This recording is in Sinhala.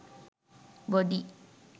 body